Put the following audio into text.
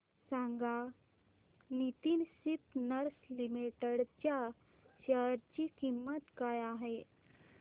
सांगा Nitin spinners limited च्या share ची किंमत काय आहे